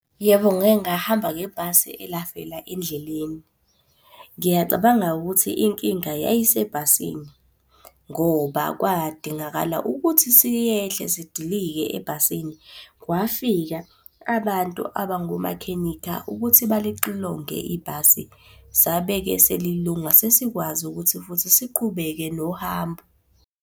Yebo ngake ngahamba ngebhasi elafela endleleni. Ngiyacabanga ukuthi inkinga yayisebhasini ngoba kwadingakala ukuthi siyehle sidilike ebhasini. Kwafika abantu abangomakhenikha ukuthi balixilonge ibhasi. Sabe-ke selilunga sesikwazi ukuthi futhi siqhubeke nohambo.